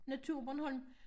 Naturbornholm